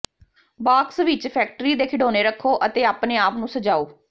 box ਵਿਚ factory ਦੇ ਖਿਡੌਣੇ ਰੱਖੋ ਅਤੇ ਆਪਣੇ ਆਪ ਨੂੰ ਸਜਾਓ